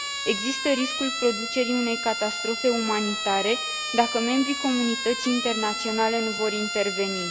Există riscul producerii unei catastrofe umanitare, dacă membri comunității internaționale nu vor interveni.